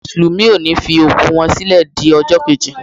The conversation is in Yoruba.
Àwọn mùsùlùmí ọ ni fi òkú wọ́n sílẹ di ọjọ́ keji.